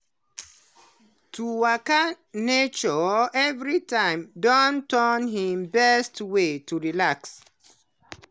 to waka for nature everytime don turn him best way to relax.